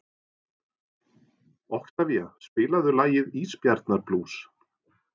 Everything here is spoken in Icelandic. Oktavía, spilaðu lagið „Ísbjarnarblús“.